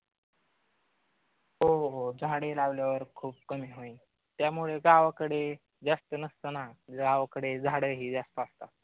हो हो झाडे लावल्यावर कमी होईल. त्यामुळे गावाकडे जास्त नसतं ना गावाकडे झाडं हे जास्त असतात.